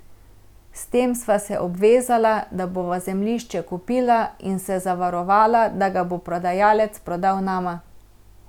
S tem sva se obvezala, da bova zemljišče kupila, in se zavarovala, da ga bo prodajalec prodal nama.